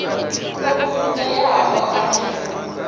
o funzeaho a re na